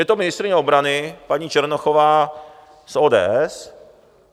Je to ministryně obrany paní Černochová z ODS.